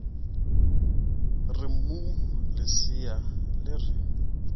re mmu lesea le re